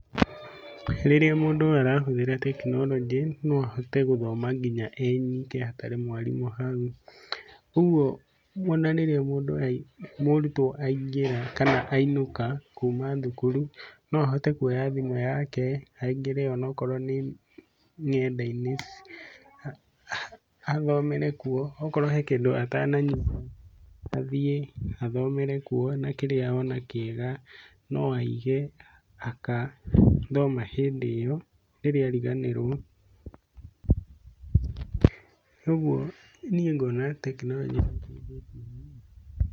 Rĩrĩa mũndũ arahũthĩra tekinoronjĩ, no ahote gũthoma nginya e nyike hatarĩ mwarimũ hau, ũguo o na rĩrĩa mũrutwo aingĩra kana ainũka kuma thukuru no ahote kuoya thimũ yake, aingĩre o na korwo nĩ ng'enda-inĩ athomere kuo, okorwo he kĩndũ atananyita, athiĩ athomere kuo na kĩrĩa ona kĩega no aige agathoma hĩndĩ ĩyo rĩrĩa ariganĩrwo, ũguo niĩ ngona tekinoronjĩ nĩ ĩteithĩtie mũno.